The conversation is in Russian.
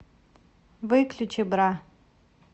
выключи бра